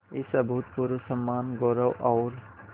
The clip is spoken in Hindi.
इस अभूतपूर्व सम्मानगौरव और